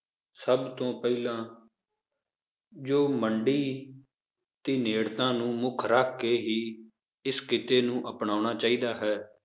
ਸਭ ਤੋਂ ਪਹਿਲਾਂ ਜੋ ਮੰਡੀ ਦੀ ਨੇੜਤਾ ਨੂੰ ਮੁੱਖ ਰੱਖ ਕੇ ਹੀ ਇਸ ਕਿੱਤੇ ਨੂੰ ਅਪਣਾਉਣਾ ਚਾਹੀਦਾ ਹੈ l